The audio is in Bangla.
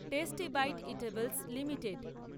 tasty Bite Eatables limited